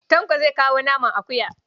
Tanko zai kawo naman akuya.